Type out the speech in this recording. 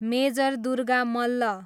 major Durga Malla